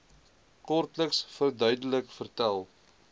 kortliks verduidelik vertel